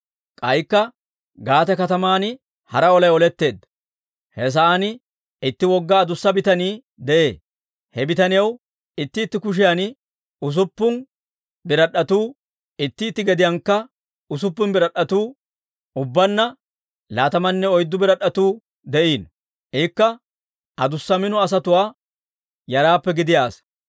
K'aykka Gaate kataman hara olay oletteedda. He sa'aan itti wogga adussa bitanii de'ee. He bitaniyaw itti itti kushiyan usuppun birad'd'etuu, itti itti gediyaankka usuppun birad'd'etuu, ubbaanna laatamanne oyddu birad'd'etuu de'iino. Ikka adussa mino asatuwaa yaraappe gidiyaa asaa.